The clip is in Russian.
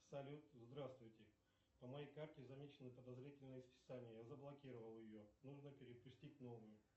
салют здравствуйте по моей карте замечены подозрительные списания я заблокировал ее нужно перепустить новую